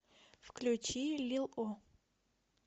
включи лил о